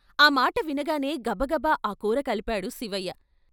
ఆ మాట వినగానే గబగబ ఆ కూర కలిపాడు శివయ్య.